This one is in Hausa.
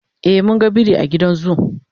e mun ga biri a gidan zoo